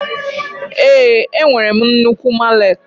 Ee, enwere m nnukwu mallet.